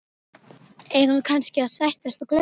Eigum við kannski að sættast og gleyma þessu?